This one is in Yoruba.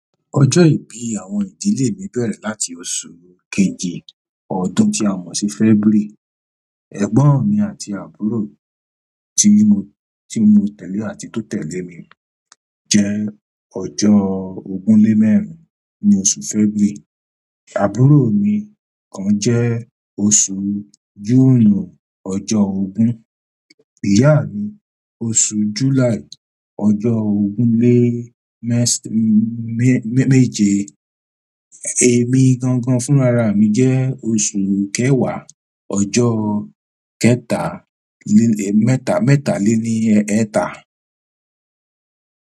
Ọjọ́ ìbí àwọn ìdílé mi bẹ̀rẹ̀ láti oṣù kejì ọdún tí a mọ̀ sí February. Ẹ̀gbọ́n mi àti àbúrò tí mo, tí mo tẹ̀lé àti tó tẹ́lẹ̀ mi jẹ́ ọjọ́ ogún lé mẹ́rin ní oṣù February. Àbúrò mi kan jẹ́ oṣù June ọjọ́ ogún, ìyá mi oṣù July ọjọ́ ogún lé mẹ́sa-mē-mēje. Èmi gangan fúnra rà jẹ́ oṣù kẹwàá ọjọ́ kẹta lé, mẹ́ta, mẹ́ta lé ní ẹ̀ẹta.